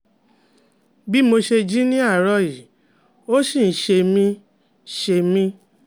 Bih mo ṣe jí ní àárọ̀ yìí ó ṣì ń ṣe mí ń ṣe mí